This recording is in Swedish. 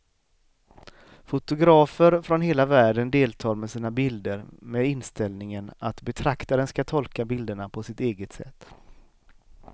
Fotografer från hela världen deltar med sina bilder med inställningen att betraktaren ska tolka bilderna på sitt eget sätt.